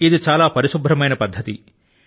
ఇది చాలా పరిశుభ్రమైన పద్దతి